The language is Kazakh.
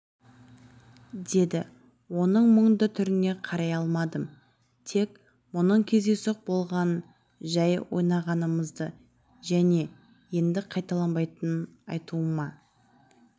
деді оның мұңды түріне қарай алмадым тек бұның кездейсоқ болғанын жәй ойнағанымызды және енді қайталанбайтынын айтуыма